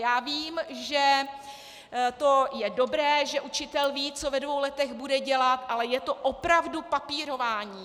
Já vím, že to je dobré, že učitel ví, co ve dvou letech bude dělat, ale je to opravdu papírování.